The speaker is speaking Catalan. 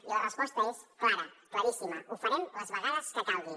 i la resposta és clara claríssima ho farem les vegades que calgui